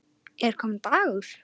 Er kominn dagur?